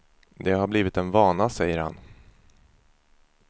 Det har blivit en vana, säger han.